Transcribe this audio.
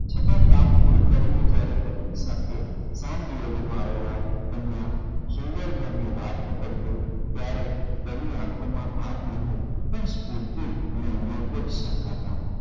છતાં કામ પૂરું કરીને જયારે પત્ની સાથે તેમનાં સુંદરઘરની વાત પકડતો ત્યારે તેની આંખોમાં થાક નહીં પણ સ્ફૂર્તિ અને છલકાતાં.